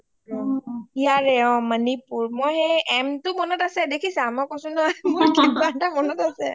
ইয়াৰে অ মণিপুৰ মই এই m টো মনত আছে দেখিছা মই কৈছো নহয় কিবা এটা মনত আছে